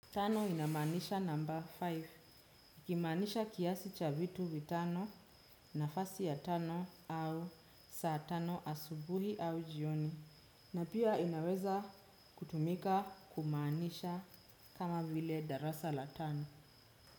Tano inamanisha number five, ikimanisha kiasi cha vitu vitano, nafasi ya tano au saa tano asubuhi au jioni, na pia inaweza kutumika kumaanisha kama vile darasa la tano.